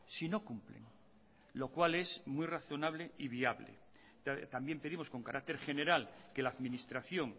si no cumplen lo cual es muy razonable y viable también pedimos con carácter general que la administración